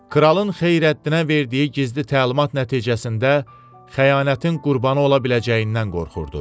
Kralın Xeyrəddinə verdiyi gizli təlimat nəticəsində xəyanətin qurbanı ola biləcəyindən qorxurdu.